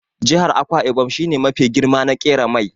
Jihar Akwa ibom shi ne mafi girma na ƙera mai.